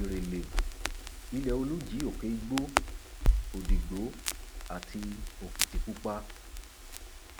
ìrẹlẹ ilẹolùjíòkèìgbò odígbó àti òkìtìpápá